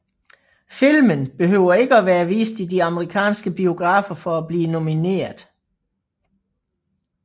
Filmen behøver ikke have været vist i de amerikanske biografer for at blive nomineret